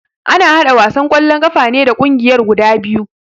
Ana haɗa wasan kwallo ƙafa ne da kungiyar guda biyu